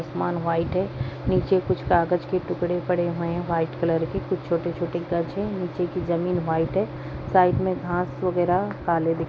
आसमान व्हाइट है नीचे कुछ कागज के टुकड़े पड़े हुए हैं व्हाइट कलर के कुछ छोटे-छोटे कज है नीचे की जमीन व्हाइट है साइड में घास वगैरा काले दिख --